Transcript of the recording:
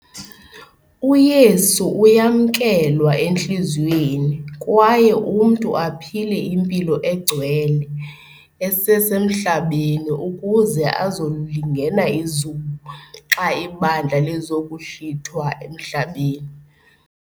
UYesu uyamkelwa entliziyweni kwaye umntu aphile impilo engcwele esesemhlabeni ukuze azokulingena izulu xa ibandla lizokuhlithwa emhlabeni.